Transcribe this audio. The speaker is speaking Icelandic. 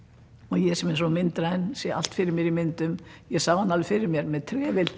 ég sem er svo myndræn sé allt fyrir mér myndum ég sá hann alveg fyrir mér með